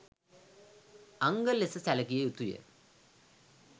අංග ලෙස සැලකිය යුතු ය